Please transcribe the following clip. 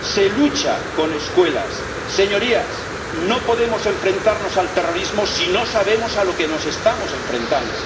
se lucha con escuelas. Señorías, no podemos enfrentarnos al terrorismo si no sabemos a lo que nos estamos enfrentando.